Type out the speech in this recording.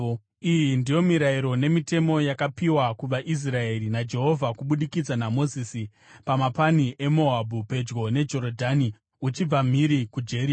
Iyi ndiyo mirayiro nemitemo yakapiwa kuvaIsraeri naJehovha kubudikidza naMozisi pamapani eMoabhu pedyo neJorodhani uchibva mhiri kuJeriko.